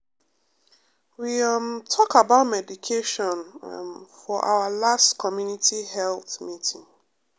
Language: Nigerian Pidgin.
we um talk about meditation um for our last community health meeting.